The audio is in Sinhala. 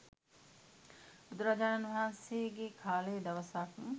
බුදුරජාණන් වහන්සේගේ කාලේ දවසක්